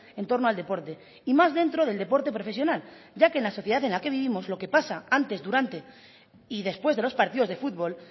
en torno al deporte y más dentro del deporte profesional ya que en la sociedad en la que vivimos lo que pasa antes durante y después de los partidos de fútbol